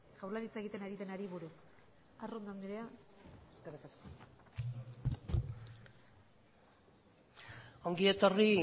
jaurlaritza egiten ari denari buruz arrondo anderea zurea da hitza eskerrik asko ongi etorri